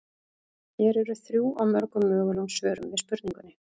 Hér eru þrjú af mörgum mögulegum svörum við spurningunni.